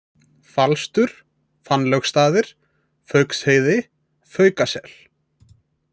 Falstur, Fannlaugarstaðir, Fauksheiði, Fauskasel